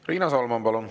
Riina Solman, palun!